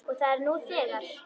Og er það nú þegar.